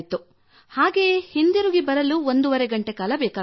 ಹಾಗೆಯೇ ಹಿಂದಿರುಗಿ ಬರಲು ಒಂದೂವರೆ ಗಂಟೆಕಾಲ ಬೇಕಾಗುತ್ತಿತ್ತು